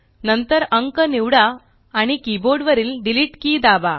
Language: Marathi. नंतर अंक निवडा आणि किबोर्ड वरील डिलीट कि दाबा